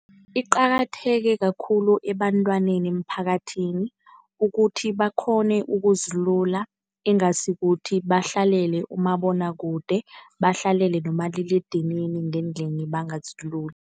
Iqakatheke kakhulu ebantwaneni emphakathini ukuthi bakghone ukuzilula. Ingasi ukuthi bahlalele umabonakude, bahlalele nomaliledinini ngendlini bangaziluli.